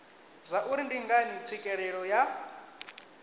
zwauri ndi ngani tswikelelo ya